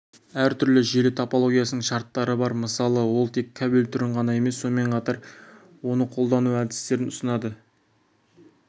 әр желі топологиясының шарттары бармысалы ол тек кабель түрін ғана емес сонымен қатар оны қолдану әдістерін ұсынады